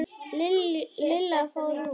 Lilla fór út.